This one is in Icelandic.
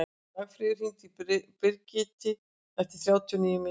Dagfríður, hringdu í Brigiti eftir þrjátíu og níu mínútur.